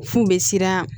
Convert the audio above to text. F'u bɛ siran